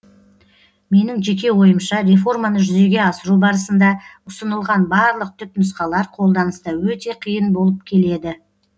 менің жеке ойымша реформаны жүзеге асыру барысында ұсынылған барлық түпнұсқалар қолданыста өте қиын болып келеді